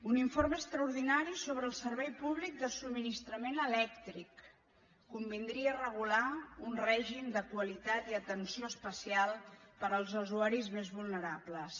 un informe extraordinari sobre el servei públic de subministrament elèctric convindria regular un règim de qualitat i atenció especial per als usuaris més vulnerables